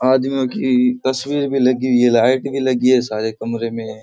आदमी की तस्वीर भी लगी हुई है लाइट भी लगी है सारे कमरे मे।